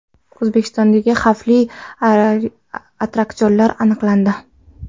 O‘zbekistondagi xavfli attraksionlar aniqlandi.